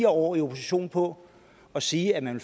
år i opposition på at sige at man